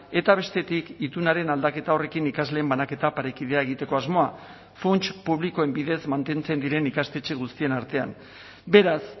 eta bestetik itunaren aldaketa horrekin ikasleen banaketa parekidea egiteko asmoa funts publikoen bidez mantentzen diren ikastetxe guztien artean beraz